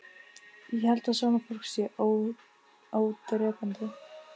Ég held að svona fólk sé ódrepandi